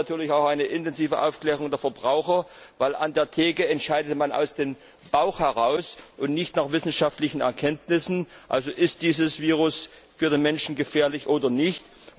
Wir brauchen natürlich auch eine intensive Aufklärung der Verbraucher, denn an der Fleischtheke entscheidet man aus dem Bauch heraus und nicht nach wissenschaftlichen Erkenntnissen. Also Ist dieses Virus für den Menschen gefährlich oder nicht?